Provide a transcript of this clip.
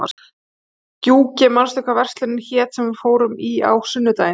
Gjúki, manstu hvað verslunin hét sem við fórum í á sunnudaginn?